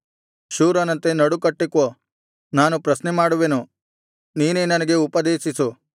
ಶೂರನಂತೆ ನಡುಕಟ್ಟಿಕೋ ನಾನು ಪ್ರಶ್ನೆಮಾಡುವೆನು ನೀನೇ ನನಗೆ ಉಪದೇಶಿಸು